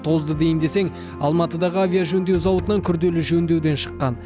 тозды дейін десең алматыдағы авиажөндеу зауытынан күрделі жөндеуден шыққан